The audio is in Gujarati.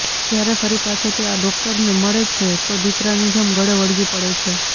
જ્યારે ફરી પાછો તે આ ડોક્ટરને મળે છે તો દિકરાની જેમ ગળે વળગી પડે છે